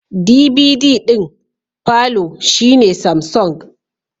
DVD d'in palour shine Samsung